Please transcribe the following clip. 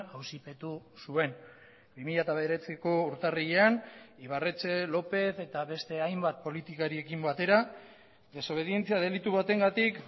auzipetu zuen bi mila bederatziko urtarrilean ibarretxe lópez eta beste hainbat politikariekin batera desobedientzia delitu batengatik